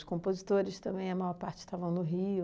Os compositores também, a maior parte, estavam no Rio.